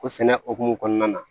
Ko sɛnɛ hukumu kɔnɔna na